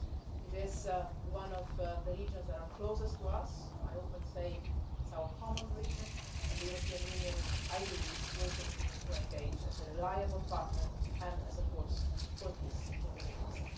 It is one of the regions that is closest to us, I often say it is our common region, and the European Union, I believe, will continue to engage as a reliable partner and as a force for peace in the Middle East.